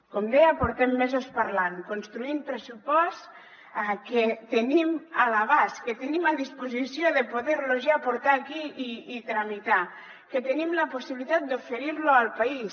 com deia portem mesos parlant construint pressupost que tenim a l’abast que tenim a disposició per poderlo ja portar aquí i tramitar que tenim la possibilitat d’oferir al país